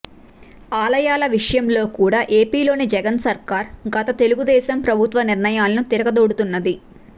ఆలయాల విషయంలో కూడా ఏపీలోని జగన్ సర్కార్ గత తెలుగుదేశం ప్రభుత్వ నిర్ణయాలను తిరగదోడుతున్నది